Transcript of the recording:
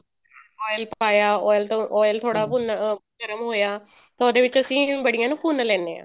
oil ਪਾਇਆ oil ਥੋੜਾ ਗਰਮ ਹੋਇਆ ਤਾਂ ਉਹਦੇ ਵਿੱਚ ਅਸੀਂ ਬੜੀਆਂ ਨੂੰ ਭੁੰਨ ਲੈਣੇ ਹਾਂ